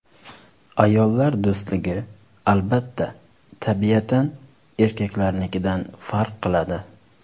Ayollar do‘stligi, albatta, tabiatan erkaklarnikidan farq qiladi.